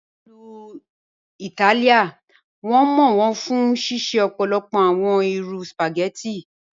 Ní Ilú Ítálìá, wọn mọ wọn fún ṣíṣẹ̀ ọ̀pọ̀lọpọ̀ awọn irú spaghetti.